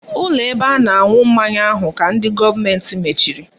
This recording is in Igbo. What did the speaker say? Ụlọ ebe a na-aṅụ mmanya ahụ ka ndị gọọmenti mechiri